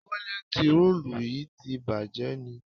Tọ́ílẹ́tìì rolù yí ti bàjé ni?